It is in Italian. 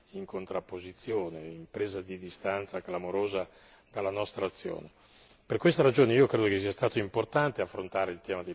questa perplessità si è trasformata in qualche volta addirittura in contrapposizione, in presa di distanza clamorosa dalla nostra azione.